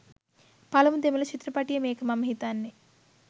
පළමු දෙමළ චිත්‍රපටිය මේක මම හිතන්නේ.